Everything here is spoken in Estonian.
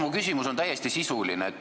Mu küsimus on täiesti sisuline.